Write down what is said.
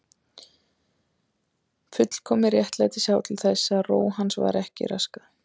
Fullkomið réttlæti sá til þess að ró hans var ekki raskað.